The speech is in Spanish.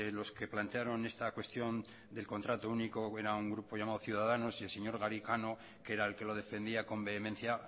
los que plantearon esta cuestión del contrato único era un grupo llamado ciudadanos y el señor garicano que era el que lo defendía con vehemencia